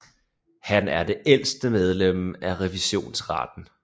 Han er det ældste medlem af Revisionsretten